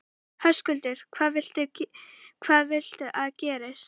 Höskuldur: Hvað viltu að gerist?